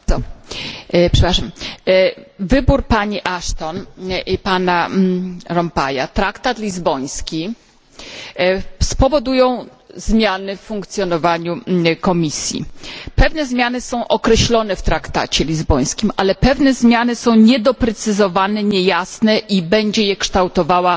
Panie przewodniczący! Wybór pani Ashton i pana Van Rompuya, traktat lizboński spowodują zmiany w funkcjonowaniu Komisji. Pewne zmiany są określone w traktacie lizbońskim, ale pewne zmiany są niedoprecyzowane, niejasne i będzie je kształtowała